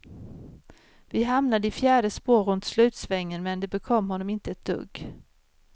Vi hamnade i fjärde spår runt slutsvängen men det bekom honom inte ett dugg.